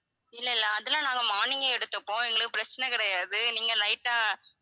இல்ல இல்ல அதெல்லாம் நாங்க morning ஏ எடுத்துப்போம் எங்களுக்கு பிரச்சனை கிடையாது நீங்க night ஆ